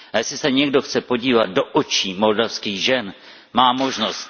A jestli se někdo chce podívat do očí moldavských žen, má možnost.